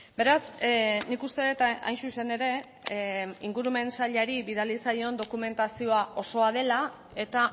beraz nik uste dut hain zuzen ere ingurumen sailari bidali zaion dokumentazioa osoa dela eta